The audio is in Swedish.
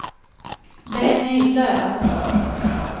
Benny Löf